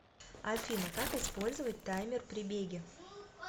афина как испльзовать таймер при беге